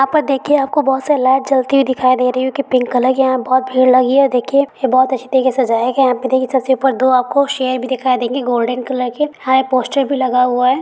यहाँ पर देखिये आपको बोहोत सारे लाइट जलती हुई दिखाई दे रही होगी। पिंक कलर की यहाँ बोहोत भीड़ लगी है। देखिये ये बोहोत अच्छी तरह से सजाया गया है। यहाँ पे देखिये सबसे ऊपर दो आपको शेर भी दिखाई देंगे। ऊपर गोल्डन कलर के हा ये पोस्टर भी लगा हुआ है ।